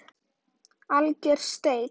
Alger steik